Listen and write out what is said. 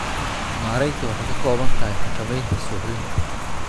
Maaraynta waxay ka kooban tahay xakamaynta suuxdinta.